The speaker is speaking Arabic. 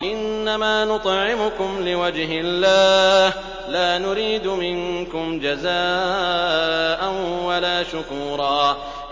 إِنَّمَا نُطْعِمُكُمْ لِوَجْهِ اللَّهِ لَا نُرِيدُ مِنكُمْ جَزَاءً وَلَا شُكُورًا